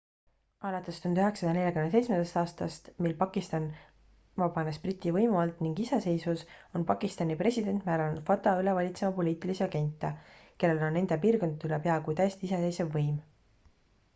alates 1947 aastast mil pakistan vabanes briti võimu alt ning iseseisvus on pakistani president määranud fata üle valitsema poliitilisi agente kellel on nende piirkondade üle peaaegu täiesti iseseisev võim